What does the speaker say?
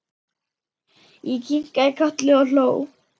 Ég kinkaði kolli og hló.